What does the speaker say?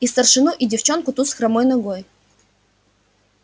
и старшину и девчонку ту с хромой ногой